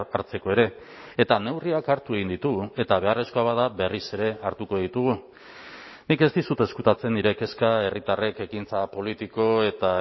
hartzeko ere eta neurriak hartu egin ditugu eta beharrezkoa bada berriz ere hartuko ditugu nik ez dizut ezkutatzen nire kezka herritarrek ekintza politiko eta